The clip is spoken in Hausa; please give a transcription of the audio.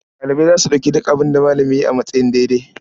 Ɗalibai za su ɗauki duk abin da malami ya yi a matsayin daidai.